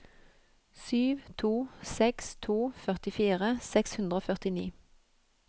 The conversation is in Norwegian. sju to seks to førtifire seks hundre og førtini